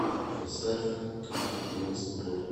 поставь как будто мы с тобой